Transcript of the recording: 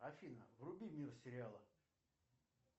афина вруби мир сериала